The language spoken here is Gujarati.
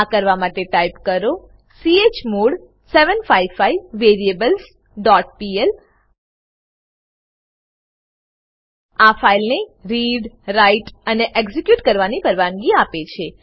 આ કરવા માટે ટાઈપ કરો ચમોડ 755 વેરિએબલ્સ ડોટ પીએલ આ ફાઈલને રીડરાઈટઅને એક્ઝીક્યુટ કરવાની પરવાનગી આપે છે